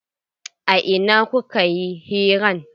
A ina kuka yi hiran?